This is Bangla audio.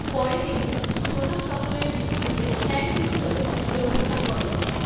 পরে তিনি সোনম কাপুরের বিপরীতে ‘থ্যাঙ্ক ইউ’ চলচ্চিত্রে অভিনয় করেন।